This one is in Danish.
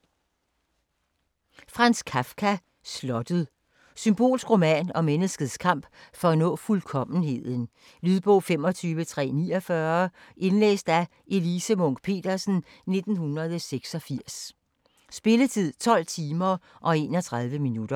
Kafka, Franz: Slottet Symbolsk roman om menneskets kamp for at nå fuldkommenheden. Lydbog 25349 Indlæst af Elise Munch-Petersen, 1986. Spilletid: 12 timer, 31 minutter.